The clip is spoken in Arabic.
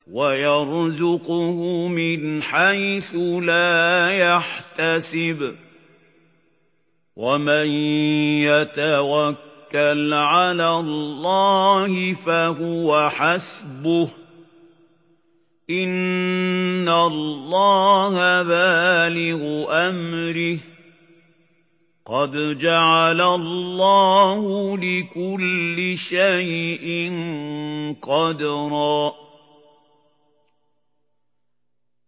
وَيَرْزُقْهُ مِنْ حَيْثُ لَا يَحْتَسِبُ ۚ وَمَن يَتَوَكَّلْ عَلَى اللَّهِ فَهُوَ حَسْبُهُ ۚ إِنَّ اللَّهَ بَالِغُ أَمْرِهِ ۚ قَدْ جَعَلَ اللَّهُ لِكُلِّ شَيْءٍ قَدْرًا